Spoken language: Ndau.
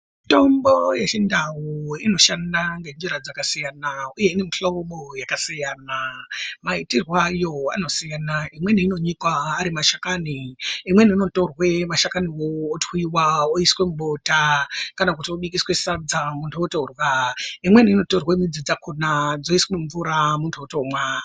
Mitombo yechindau inoshanda ngenjira dzakasiyana, uye ine mihlobo yakasiyana maitirwo ayo anosiyana. Imweni inonyikwa ari mashakani imweni inotorwe mashakanivo otwiva oiswa mubota. Kana kuti obikiswe sadza muntu otorya, imweni inotorwe midzi dzakona dzoiswe mumvura muntu otomwa.